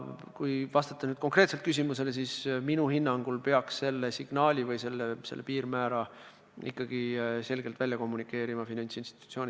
Kui vastata nüüd konkreetselt teie küsimusele, siis minu hinnangul peaks selle signaali või piirmäära finantsinstitutsioonidele selgelt edastama ikkagi Finantsinspektsioon.